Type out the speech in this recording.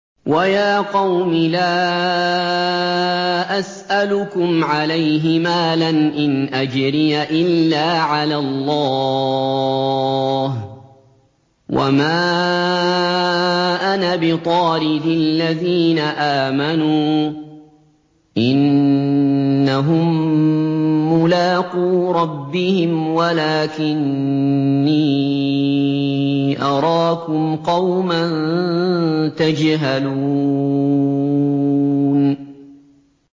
وَيَا قَوْمِ لَا أَسْأَلُكُمْ عَلَيْهِ مَالًا ۖ إِنْ أَجْرِيَ إِلَّا عَلَى اللَّهِ ۚ وَمَا أَنَا بِطَارِدِ الَّذِينَ آمَنُوا ۚ إِنَّهُم مُّلَاقُو رَبِّهِمْ وَلَٰكِنِّي أَرَاكُمْ قَوْمًا تَجْهَلُونَ